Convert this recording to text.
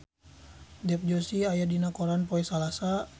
Dev Joshi aya dina koran poe Salasa